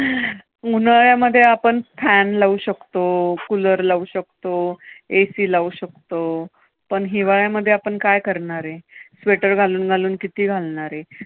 उन्हाळ्यामध्ये आपण fan लावू शकतो, cooler लावू शकतो, AC लावू शकतो, पण हिवाळ्यामध्ये आपण काय करणार? sweater घालून घालून किती घालणार?